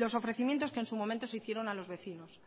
los ofrecimientos que en su momento se hicieron a los vecinos